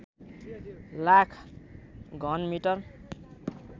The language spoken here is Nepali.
लाख घन मिटर